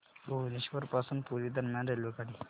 भुवनेश्वर पासून पुरी दरम्यान रेल्वेगाडी